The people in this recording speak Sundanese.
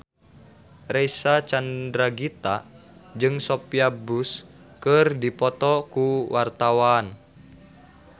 Reysa Chandragitta jeung Sophia Bush keur dipoto ku wartawan